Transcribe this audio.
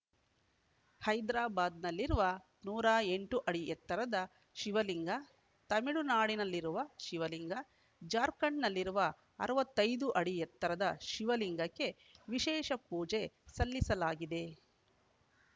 ಹೈದ್ರಾಬಾದ್‌ನಲ್ಲಿರುವ ನೂರ ಎಂಟು ಅಡಿ ಎತ್ತರದ ಶಿವಲಿಂಗ ತಮಿಳುನಾಡಿನಲ್ಲಿರುವ ಶಿವಲಿಂಗ ಜಾರ್ಖಂಡ್‌ನಲ್ಲಿರುವ ಅರವತ್ತೈ ದು ಅಡಿ ಎತ್ತರದ ಶಿವಲಿಂಗಕ್ಕೆ ವಿಶೇಷ ಪೂಜೆ ಸಲ್ಲಿಸಲಾಗಿದೆ